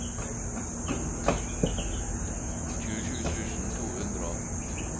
tjuesju tusen to hundre og atten